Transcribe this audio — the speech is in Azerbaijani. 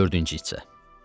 Dördüncü hissə.